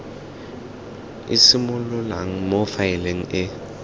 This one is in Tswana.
e simololang mo faeleng e